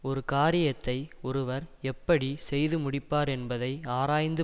ஒரு காரியத்தை ஒருவர் எப்படி செய்து முடிப்பார் என்பதை ஆராய்ந்து